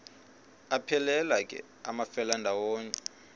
aphelela ke amafelandawonye